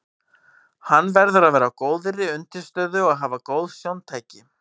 Hann verður að vera á góðri undirstöðu og hafa góð sjóntæki.